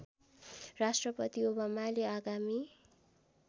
राष्ट्रपति ओबामाले आगामी